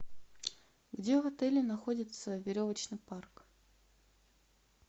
где в отеле находится веревочный парк